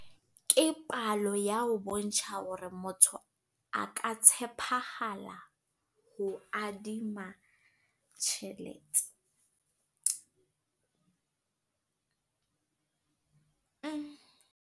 Ke palo ya ho bontsha hore motho a ka tshepahala ho adima tjhelete.